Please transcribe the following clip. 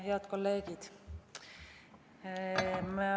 Head kolleegid!